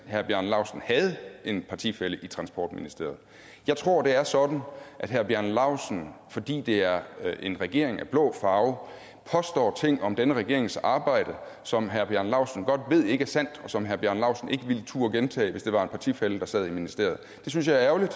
herre bjarne laustsen havde en partifælle i transportministeriet jeg tror det er sådan at herre bjarne laustsen fordi det er en regering af blå farve påstår ting om denne regerings arbejde som herre bjarne laustsen godt ved ikke er sandt og som herre bjarne laustsen ikke ville turde gentage hvis det var en partifælle der sad i ministeriet det synes jeg er ærgerligt